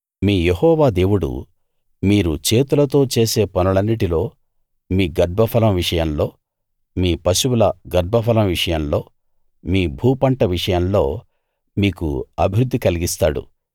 మీ Jehovah దేవుడు మీరు చేతులతో చేసే పనులన్నిటిలో మీ గర్భఫలం విషయంలో మీ పశువుల గర్భఫలం విషయంలో మీ భూపంట విషయంలో మీకు అభివృద్ధి కలిగిస్తాడు